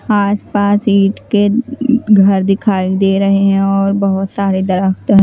आसपास ईंट के घर दिखाई दे रहे हैं और बहुत सारे दरख्त --